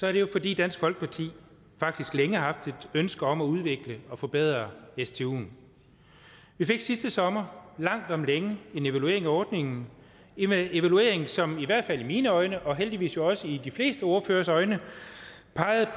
er det jo fordi dansk folkeparti faktisk længe har haft et ønske om at udvikle og forbedre stuen vi fik sidste sommer langt om længe en evaluering af ordningen en evaluering som i hvert fald i mine øjne og heldigvis også i de fleste ordføreres øjne pegede